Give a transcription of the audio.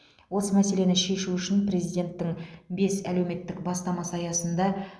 осы мәселені шешу үшін президенттің бес әлеуметтік бастамасы аясында